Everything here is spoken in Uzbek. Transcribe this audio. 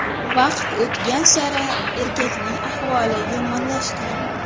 Vaqt o‘tgan sari erkakning ahvoli yomonlashgan.